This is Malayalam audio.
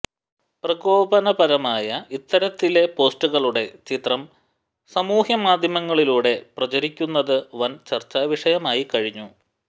പ്രകോപനപരമായ ഇത്തരത്തിലെ പോസ്റ്ററുകളുടെ ചിത്രം സാമൂഹ്യ മാധ്യമങ്ങളിലൂടെ പ്രചരിക്കുന്നതു വന് ചര്ച്ചാ വിഷയമായി കഴിഞ്ഞു